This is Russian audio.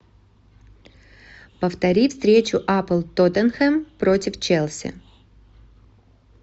повтори встречу апл тоттенхэм против челси